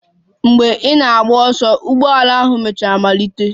Mgbe ị na-agba ọsọ, ụgbọala ahụ mechara malite.